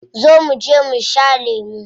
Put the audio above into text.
Zo muje mu sha lemu.